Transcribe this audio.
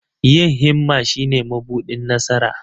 Yin himma shine mabuɗin nasara.